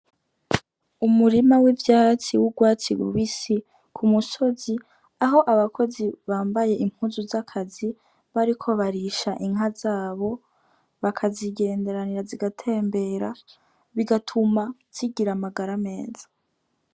Umurima w'ivyatsi w'urwatsi rubisi ku musozi aho abakozi bambaye impuzu zakazi bariko barisha inka zabo baka zigenderanira zigatembera bigatuma zigira amagara meza.